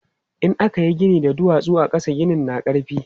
In aka yi gini da duwatsu a ƙasa, ginin na ƙarfi.